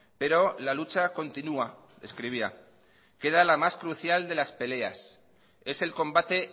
pero la lucha continúa escribía queda la más crucial de las peleas es el combate